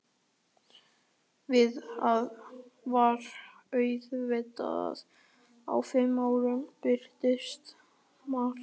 Svarið var auðvitað að á fimm árum breytist margt.